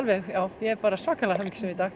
ég er bara svakalega hamingjusöm í dag